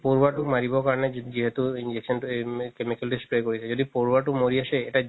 পৰুৱাটো মাৰিব কাৰণে যিহেতো injection তো chemical তো spray কৰিছে যদি পৰুৱাতো মৰি আছে